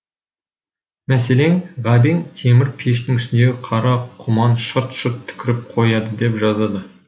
мәселен ғабең темір пештің үстіндегі қара құман шырт шырт түкіріп қояды деп жазады